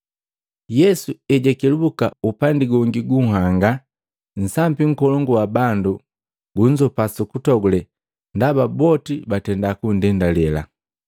Yesu ejwakelubuka upandi gongi gunhanga, nsambi nkolongu wa bandu gunzopa sukutogule ndaba boti batenda kundendale.